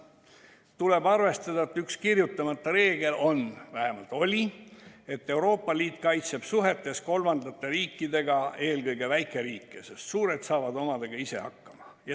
Tuleb arvestada, et üks kirjutamata reegleid on – vähemalt oli –, et Euroopa Liit kaitseb suhetes kolmandate riikidega eelkõige väikeriike, sest suured saavad omadega ise hakkama.